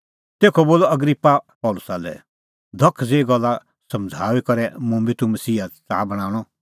तेखअ बोलअ अग्रिप्पा पल़सी लै धख ज़ेही गल्ला समझ़ाऊई करै कै मुंबी तूह मसीही च़ाहा बणांणअ